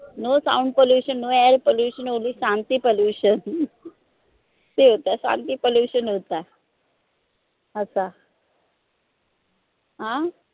no sound Pollution, no air Pollution only तामसी Pollution तामसी Pollution होता होता अं